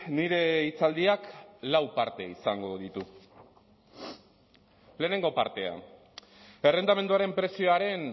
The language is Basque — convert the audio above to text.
nire hitzaldiak lau parte izango ditu lehenengo partea errentamenduaren prezioaren